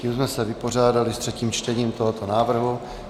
Tím jsme se vypořádali s třetím čtením tohoto návrhu.